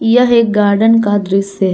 यह एक गार्डन का दृश्य--